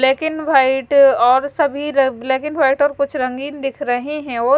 black and white और सभी र ब्लैक एंड वाइट और कुछ रंगीन दिख रहे है और--